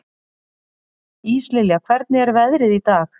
Íslilja, hvernig er veðrið í dag?